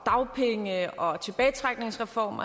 dagpenge og tilbagetrækningsreformen